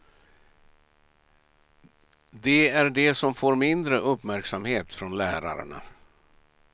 De är de som får mindre uppmärksamhet från lärarna.